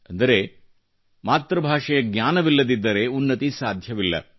ಅಂದರೆ ಮಾತೃಭಾಷೆಯ ಜ್ಞಾನವಿಲ್ಲದಿದ್ದರೆ ಉನ್ನತಿ ಸಾಧ್ಯವಿಲ್ಲ